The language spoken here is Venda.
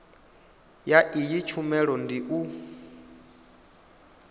ya iyi tshumelo ndi u